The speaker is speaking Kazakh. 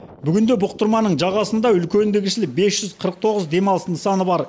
бүгінде бұқтырманың жағасында үлкенді кішілі бес жүз қырық тоғыз демалыс нысаны бар